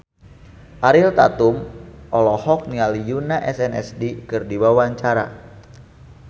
Ariel Tatum olohok ningali Yoona SNSD keur diwawancara